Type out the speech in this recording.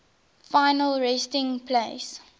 final resting place